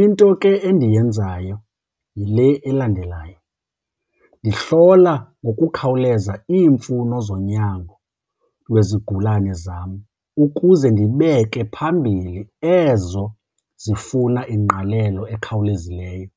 Into ke endiyenzayo yile elandelayo, ndihlola ngokukhawuleza iimfuno zonyango wezigulane zam ukuze ndibeke phambili ezo zifuna ingqalelo ekhawulezileyo.